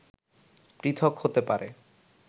পৃথক হতে পারে